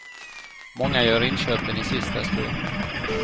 Många gör inköpen i sista stund.